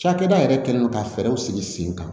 Cakɛda yɛrɛ kɛlen don ka fɛɛrɛw sigi sen kan